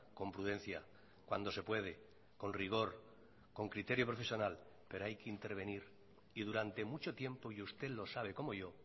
con prudencia cuando se puede con rigor con criterio profesional pero hay que intervenir y durante mucho tiempo y usted lo sabe como yo